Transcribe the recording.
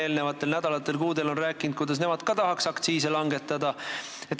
Eelmistel nädalatel ja kuudel on nad siin rääkinud, et nemad ka tahaks aktsiise langetada.